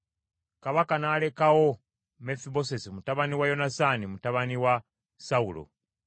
Kabaka n’alekawo Mefibosesi mutabani wa Yonasaani, mutabani wa Sawulo.